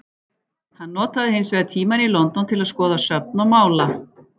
Hann notað hins vegar tímann í London til að skoða söfn og mála.